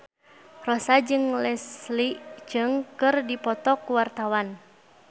Rossa jeung Leslie Cheung keur dipoto ku wartawan